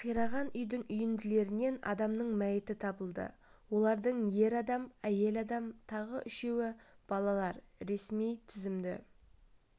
қираған үйдің үйінділерінен адамның мәйіті табылды олардың ер адам әйел адам тағы үшеуі балалар ресми тізімді